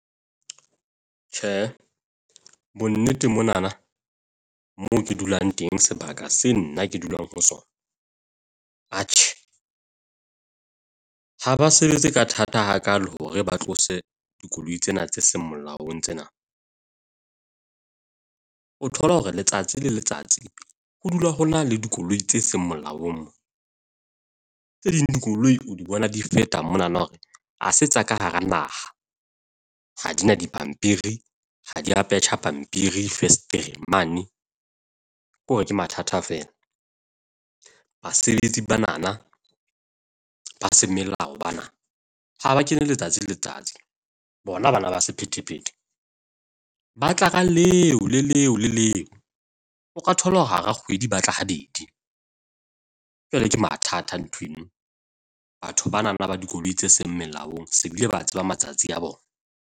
Tjhe, bonnete monana moo ke dulang teng sebaka se nna ke dulang ho sona. Atjhe, ha ba sebetse ka thata hakaalo hore ba tlose dikoloi tsena tse seng molaong tsena. O thola hore letsatsi le letsatsi ho dula ho na le dikoloi tse seng molaong. Tse ding dikoloi o di bona di feta monana hore ha se tsa ka hara naha, ha di na dipampiri. Ha di a petja pampiri fesetereng mane. Ke hore ke mathata fela, basebetsi ba nana ba semelao bana ha ba kene letsatsi le letsatsi. Bona bana ba sephethephethe, ba tla ka leo le leo le leo. O ka thola hore hara kgwedi ba tla habedi, jwale ke mathata nthweng. Batho bana ba dikoloi tse seng molaong se bile ba tseba matsatsi a bona.